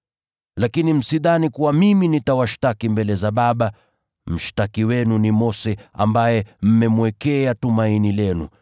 “Lakini msidhani kuwa mimi nitawashtaki mbele za Baba, mshtaki wenu ni Mose, ambaye mmemwekea tumaini lenu.